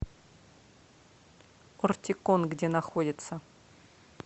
ортикон где находится